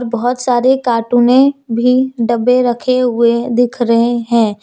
बहुत सारे कार्टून में भी डब्बे रखे हुए दिख रहे हैं।